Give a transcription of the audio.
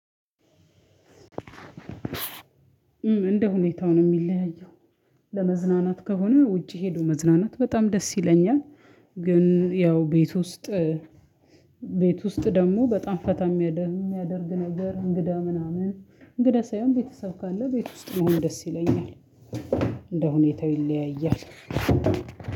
እንደሁኔታው ነው እሚለያየው ለመዝናናት ከሆነ ውጪ ሂዶ መዝናናት ደስ ይለኛል። ግን ያው ቤት ውስጥ ቤት ውስጥ ደሞ በጣም ፈታ እሚያደ እሚያደርግ ነገር እንግዳ ምናምን እንግዳ ሳይሆን ቤተሰብ ካለ ቤት ውስጥ ደስ ይለኛል። እንደ ሁኔታው ይለያያል።